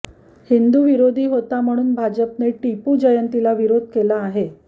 हिंदू विरोधी होता म्हणून भाजपने टिपू जयंतीला विरोध केला आहे